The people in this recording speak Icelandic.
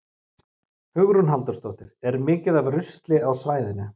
Hugrún Halldórsdóttir: Er mikið af rusli á svæðinu?